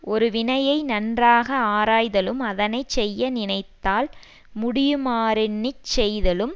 ஒருவினையை நன்றாக ஆராய்தலும் அதனை செய்ய நினைத்தால் முடியுமாறெண்ணிச் செய்தலும்